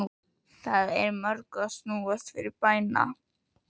Það er í mörgu að snúast fyrir bæna